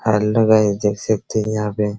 hello guys देख सकते हैं यहां पे --